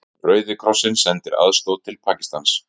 Rauði krossinn sendir aðstoð til Pakistans